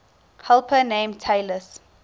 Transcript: helper named talus